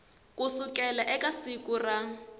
ku sukela eka siku ra